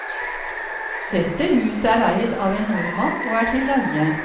Dette huset er eid av en nordmann og er til leie.